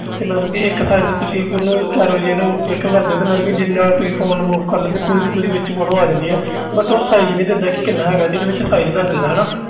ਤੇ ਮਤਲਬ ਕਿ ਇੱਕ ਉਹਨੂੰ ਚਾਰ ਵਾਰੀ ਇਹਨੂੰ click ਕਰਦੇ ਹੋ ਤੇ ਮਤਲਬ ਕਿ ਜਿੰਨਾ ਤੁਸੀਂ phone move ਕਰਦੇ ਹੋ ਪੂਰੀ ਦੀ ਪੂਰੀ ਵਿੱਚ photo ਆ ਜਾਂਦੀ ਹੈ but ਉਹ size ਨੀ ਦਿੰਦਾ ਕਿ ਕਿੰਨਾ ਹੈਗਾ ਤੇ ਇਹਦੇ ਵਿੱਚ ਦੱਸ ਦਿੰਦਾ ਹਨਾ।